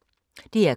DR K